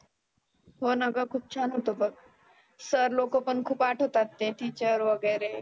हो ना ग खुप छान होतं बघ. sir लोक पण खुप आठवतात ते teacher वगैरे.